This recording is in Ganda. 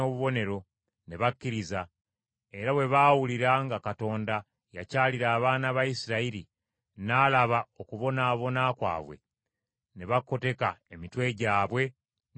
ne bakkiriza. Era bwe baawulira nga Mukama yakyalira abaana ba Isirayiri, n’alaba okubonaabona kwabwe, ne bakoteka emitwe gyabwe ne basinza.